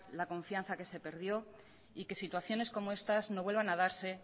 la confianza que se perdió y que situaciones como estas no vuelvan a darse